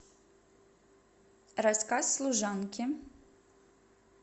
рассказ служанки